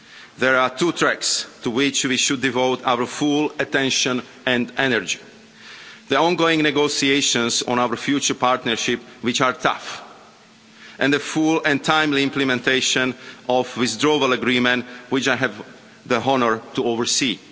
There are two tracks to which we should devote our full attention and energy. The ongoing negotiations on our future partnership, which are tough, and the full and timely implementation of the Withdrawal Agreement, which I have the honour to oversee.